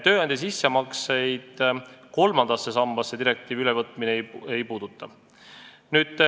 Tööandja sissemakseid kolmandasse sambasse direktiivi ülevõtmine ei puuduta.